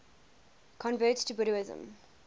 converts to buddhism